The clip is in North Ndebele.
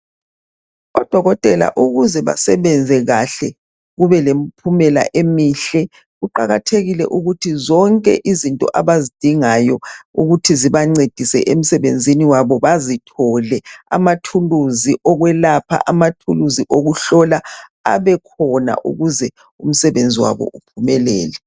Odokotela ukuze basebenze kahle kubelemiphumela emihle, kuqakathekile ukuthi zonke izinto abazidingayo ukuthi zibancedise emsebenzini wabo bazithole, amathuluzi okwelapha, amathuluzi wokuhlola abekhona ukuzeumsebenzi wabo uphumelele.